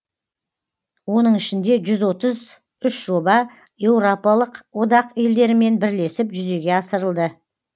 оның ішінде жүз отыз үш жоба еуропалық одақ елдерімен бірлесіп жүзеге асырылды